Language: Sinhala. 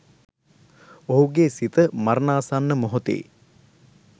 ඔහුගේ සිත මරණාසන්න මොහොතේ